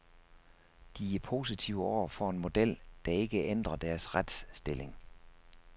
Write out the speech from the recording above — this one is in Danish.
De er positive over for en model, der ikke ændrer deres retsstilling.